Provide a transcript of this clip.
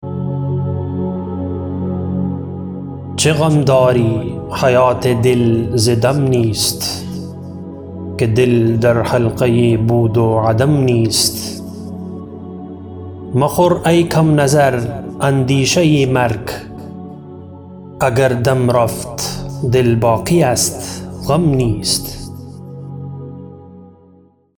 چه غم داری حیات دل ز دم نیست که دل در حلقه بود و عدم نیست مخور ای کم نظر اندیشه مرگ اگر دم رفت دل باقی است غم نیست